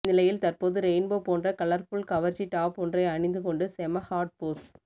இந்நிலையில் தற்போது ரெயின்போ போன்ற கலர்புல் கவர்ச்சி டாப் ஒன்றை அணிந்துகொண்டு செம ஹாட் போஸ்